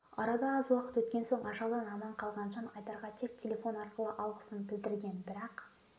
арада аз уақыт өткен соң ажалдан аман қалған жан айдарға тек телефон арқылы алғысын білдірген бірақ